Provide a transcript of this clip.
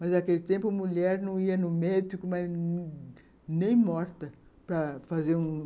Mas, naquele tempo, a mulher não ia ao médico, nem morta, para fazer um...